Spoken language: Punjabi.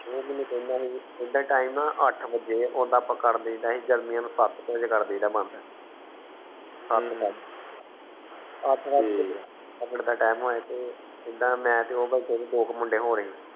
ਉਹ ਮੇਨੂ ਕਹਿੰਦਾ ਸੀ ਇਦਾ ਟੀਮ ਹੈ ਆਠ ਬਜੇ ਓਹਦਾ ਆਪ ਕਰੀਦੇਦਾ ਗ਼ਮੀਆਂ ਚ ਸੱਤ ਕੇ ਬਜੇ ਕਰਿਦੇਇਦਾ ਬੰਦ ਜੀਦਾ ਮੈਂ ਤੇ ਉਹ ਦੋ ਕਰ ਮੁੰਡੇ ਹੋਣੇ